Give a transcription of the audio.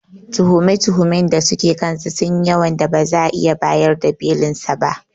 Tuhume-tuhumen da suke kansa sunyi yawan da ba za'a iya bayar da Belinsa ba.